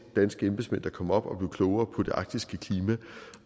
danske embedsmænd der kom op og blev klogere på det arktiske klima